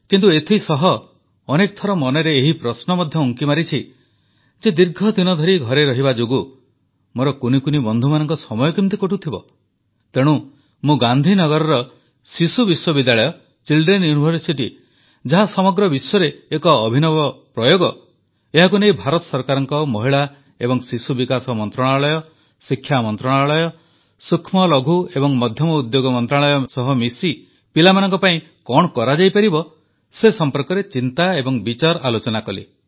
କିନ୍ତୁ ଏଥିସହ ଅନେକ ଥର ମନରେ ଏହି ପ୍ରଶ୍ନ ମଧ୍ୟ ଉଙ୍କି ମାରିଛି ଯେ ଦୀର୍ଘଦିନ ଧରି ଘରେ ରହିବା ଯୋଗୁଁ ମୋର କୁନି କୁନି ବନ୍ଧୁମାନଙ୍କ ସମୟ କେମିତି କଟୁଥିବ ତେଣୁ ମୁଁ ଗାନ୍ଧୀନଗରର ଶିଶୁ ବିଶ୍ୱବିଦ୍ୟାଳୟ ଚିଲ୍ଡ୍ରେନ ୟୁନିଭରସିଟି ଯାହା ସମଗ୍ର ବିଶ୍ୱରେ ଏକ ଅଭିନବ ପ୍ରୟୋଗ ଏହାକୁ ନେଇ ଭାରତ ସରକାରଙ୍କ ମହିଳା ଏବଂ ଶିଶୁ ବିକାଶ ମନ୍ତ୍ରଣାଳୟ ଶିକ୍ଷା ମନ୍ତ୍ରଣାଳୟ ସୂକ୍ଷ୍ମଲଘୁ ଏବଂ ମଧ୍ୟମ ଉଦ୍ୟୋଗ ମନ୍ତ୍ରଣାଳୟ ସହ ମିଶି ପିଲାମାନଙ୍କ ପାଇଁ କଣ କରାଯାଇପାରିବ ସେ ସମ୍ପର୍କରେ ଚିନ୍ତା ଏବଂ ବିଚାରଆଲୋଚନା କଲି